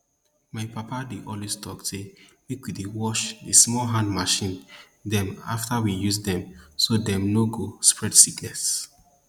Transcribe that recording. my papa dey always tok say make we dey wash di small hand machine dem afta we use dem so dem no go spread sickness